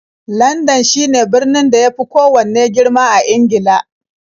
Landan shine birnin da ya fi kowanne girma ƙasar Ingila.